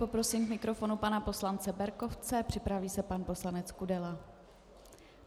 Poprosím k mikrofonu pana poslance Berkovce, připraví se pan poslanec Kudela.